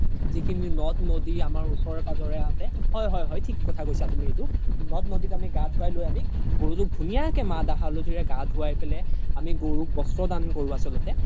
যি খিনি নথ নদি আমাৰ ওচৰে পাজৰে আছে হয় হয় হয় থিক কৈছা তুমি এইটো নথ নদি আমি গা ধুৱাই লই আমি গৰুতোক ধুনিয়া কে মা হাল্ধি ৰে গা ঘুৱাই পেলে আমি গৰুক বস্ত্ৰ দান আছ্ল্তে